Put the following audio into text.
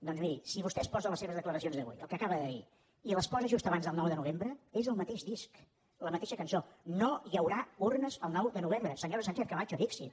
doncs miri si vostè es posa les seves declaracions d’avui el que acaba de dir i les posa just abans del nou de novembre és el mateix disc la mateixa cançó no hi haurà urnes el nou de novembre senyora sánchez camacho dixit